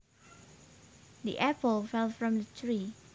The apple fell from the tree